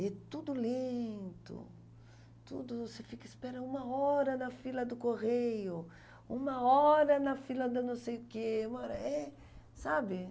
E tudo lento, tudo, você fica, espera uma hora na fila do correio, uma hora na fila da não sei o quê, uma hora, é, sabe?